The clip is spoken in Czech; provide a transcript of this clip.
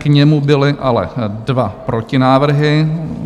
K němu byly ale dva protinávrhy.